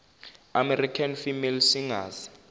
american female singers